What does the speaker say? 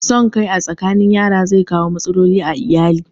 Son kai a tsakanin yara zai kawo matsaloli a ayali